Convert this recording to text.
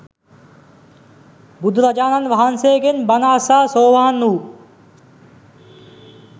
බුදුරජාණන් වහන්සේගෙන් බණ අසා සෝවාන් වූ